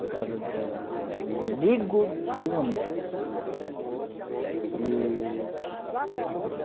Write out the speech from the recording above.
A casa de de um amigo de um amigo. E